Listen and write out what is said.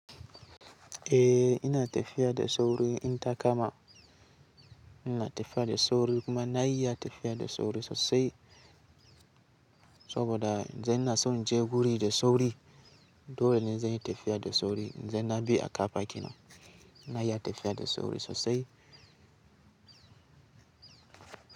Eh ina tafiya da sauri, inta kama ina tafiya da sauri kuma na iya tafiya da sauri sosai saboda idan ina son inje guri da sauri. Dole ne zan yi tafiya da sauri, idan na bi a ƙafa kenan na iya tafiya da sauri sosai.